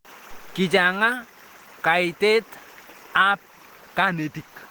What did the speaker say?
Kichanga kaitet ab kanetik